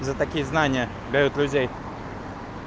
за такие знания давят людей